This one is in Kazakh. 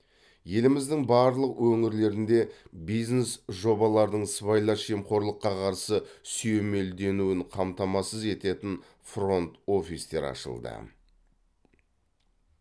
еліміздің барлық өңірлерінде бизнес жобалардың сыбайлас жемқорлыққа қарсы сүйемелденуін қамтамасыз ететін фронт офистер ашылды